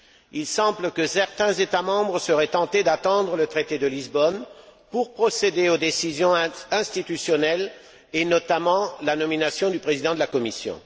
Il semble que certains États membres seraient tentés d'attendre le traité de Lisbonne pour procéder aux décisions institutionnelles et, notamment, à la nomination du président de la Commission.